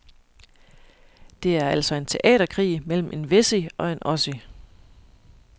Det er altså en teaterkrig mellem en wessie og en ossie.